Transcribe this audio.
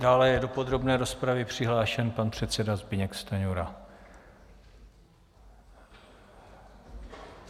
Dále je do podrobné rozpravy přihlášen pan předseda Zbyněk Stanjura.